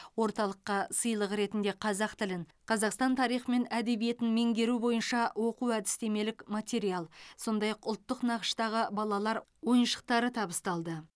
орталыққа сыйлық ретінде қазақ тілін қазақстан тарихы мен әдебиетін меңгеру бойынша оқу әдістемелік материал сондай ақ ұлттық нақыштағы балалар ойыншықтары табысталды